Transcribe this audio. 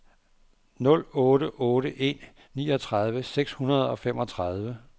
nul otte otte en niogtredive seks hundrede og femogtredive